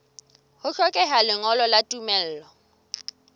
ho hlokeha lengolo la tumello